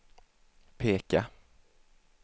peka